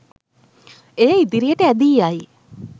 එය ඉදිරියට ඇදී යයි